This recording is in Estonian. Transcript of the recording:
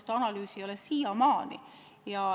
Seda analüüsi ei ole siiamaani.